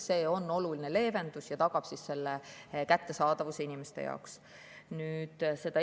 See on oluline leevendus ja tagab selle kättesaadavuse inimeste jaoks.